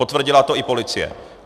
Potvrdila to i policie.